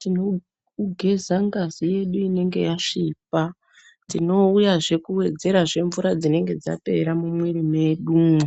tinogeza ngazi yedu inonga yasvipa, tinouyazve kuwedzerazve mvura dzinenge dzapera mumwiri mwedumwo.